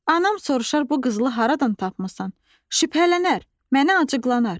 Anam soruşar bu qızılı haradan tapmısan, şübhələnər, mənə acıqlanar.